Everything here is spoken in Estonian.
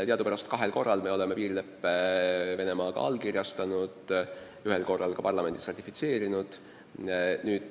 Teadupärast oleme kahel korral piirileppe Venemaaga allkirjastanud, ühel korral selle ka parlamendis ratifitseerinud.